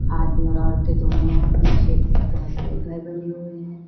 आदमी और औरतें दोनों हैं पीछे बहोत सारे घर बने हुए हैं।